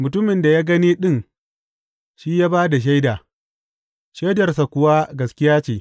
Mutumin da ya gani ɗin shi ya ba da shaida, shaidarsa kuwa gaskiya ce.